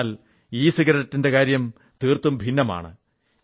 എന്നാൽ ഇസിഗരറ്റിന്റെ കാര്യം തീർത്തും ഭിന്നമാണ്